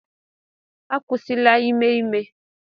Akwụsịla ime ime!